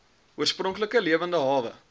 oorspronklike lewende hawe